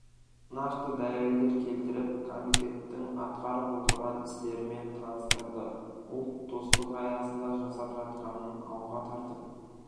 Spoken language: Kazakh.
нақты дәлелдер келтіріп комитеттің атқарып отырған істерімен таныстырды ұлт достық аясында жасап жатқанын алға тартып